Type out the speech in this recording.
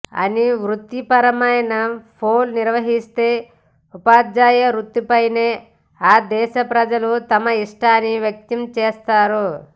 అని వృత్తిపరమైన పోల్ నిర్వహిస్తే ఉపాధ్యాయ వృత్తిపైనే ఆ దేశ ప్రజలు తమ ఇష్టాన్ని వ్యక్తం చేస్తారు